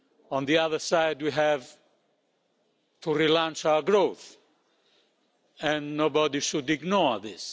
On the other side, we have to relaunch our growth and nobody should ignore this.